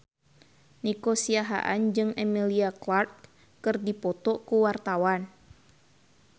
Nico Siahaan jeung Emilia Clarke keur dipoto ku wartawan